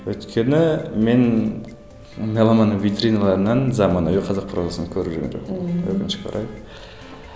өйткені мен меломанның витриналарынан заманауи қазақ прозасын көріп жүрген жоқпын өкінішке орай